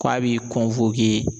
Ko a b'i